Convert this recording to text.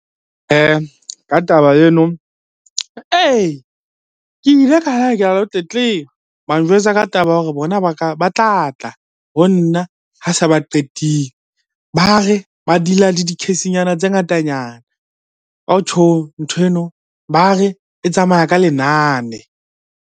Ka taba eno. Ee, ke ile ka lo tletleba. Ba njwetsa ka taba ya hore bona ba ka, ba tlatla ho nna ha se ba qetile. Ba re ba deal-a le di-case nyana tse ngatanyana. O tjhong mthweno ba re, e tsamaya ka lenane.